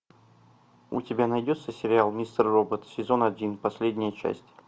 у тебя найдется сериал мистер робот сезон один последняя часть